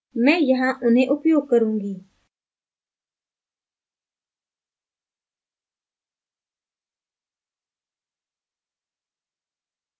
मैं यहाँ उन्हें उपयोग करुँगी